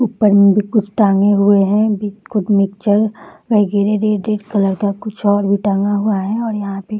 ऊपर में भी कुछ टाँगे हुए हैं बिस्कुट मिक्सचर रेड कलर का कुछ और भी टांगा हुआ हैं और यहाँ पे --